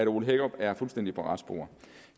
ole hækkerup er fuldstændig på rette spor